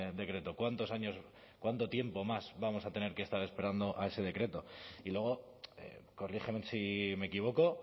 decreto cuánto tiempo más vamos a tener que estar esperando a ese decreto y luego corríjanme si me equivoco